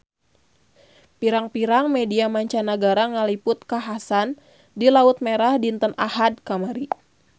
Pirang-pirang media mancanagara ngaliput kakhasan di Laut Merah dinten Ahad kamari